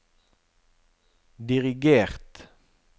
dirigert